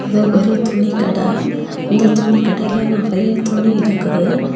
இது ஒரு துணிக்கட இந்த துணிக்கடையில நெறைய துணி இருக்குது.